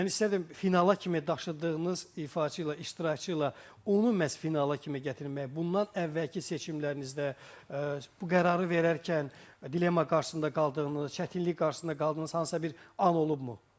Mən istərdim finala kimi daşıdığınız ifaçı ilə, iştirakçı ilə, onu məhz finala kimi gətirmək, bundan əvvəlki seçimlərinizdə bu qərarı verərkən dilemma qarşısında qaldığınız, çətinlik qarşısında qaldığınız hansısa bir an olubmu?